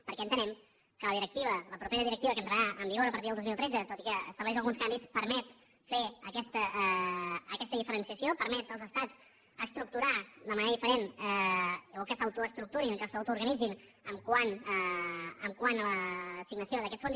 perquè entenem que la directiva la propera directiva que entrarà en vigor a partir del dos mil tretze tot i que estableix alguns canvis permet fer aquesta diferenciació permet als estats estructurar de manera diferent o que s’autoestructurin que s’autoorganitzin quant a l’assignació d’aquests fons